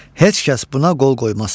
Heç kəs buna qol qoymaz.